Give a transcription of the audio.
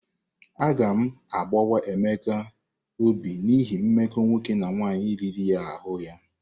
Agam agbawa Emeka obi n'ihi mmekọ nwoke na nwaanyị riri ahụ ya.